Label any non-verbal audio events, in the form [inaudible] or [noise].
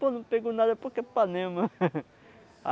Pô, não pegou nada porque é panema. [laughs]